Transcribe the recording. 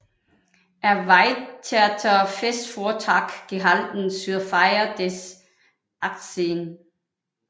Erweiterter Festvortrag gehalten zur Feier des 80